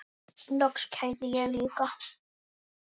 Loks kærði ég líka.